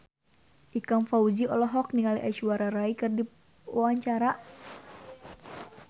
Ikang Fawzi olohok ningali Aishwarya Rai keur diwawancara